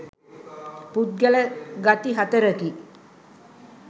පුද්ගල ගති හතරකි.